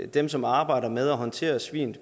dem som arbejder med at håndtere svin